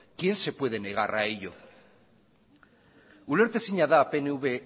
quién se puede negar a ello ulertezina da pnv